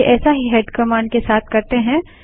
चलिए ऐसा ही हेड कमांड के साथ करते हैं